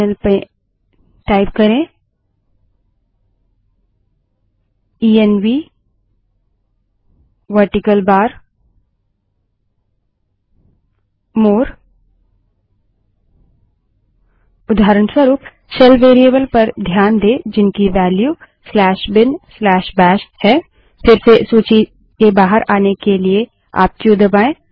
terminal में type करें ENV vertical bar more ENV space vertical bar more उदाहरणस्वरूप shell variable पर ध्यान दें जिनकी वेल्यू binbashबिनबैश है फिर से सूची के बाहर आने के लिए आप क्यू दबायें